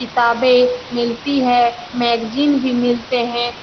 किताबें मिलती है मैगज़ीन भी मिलते हैं।